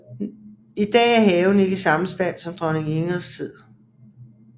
I dag er haven ikke i samme stand som i dronning Ingrids tid